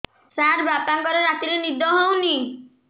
ସାର ବାପାଙ୍କର ରାତିରେ ନିଦ ହଉନି